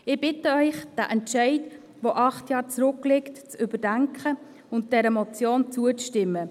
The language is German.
Ich bitte Sie, diesen Entscheid, der acht Jahre zurückliegt, zu überdenken und dieser Motion zuzustimmen.